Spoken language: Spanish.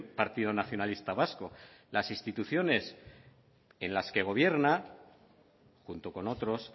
partido nacionalista vasco las instituciones en las que gobierna junto con otros